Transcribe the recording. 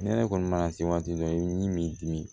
Ne yɛrɛ kɔni mana se waati dɔ i bɛ min dim